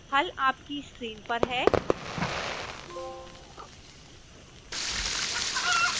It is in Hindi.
हल आपकी स्क्रीन पर है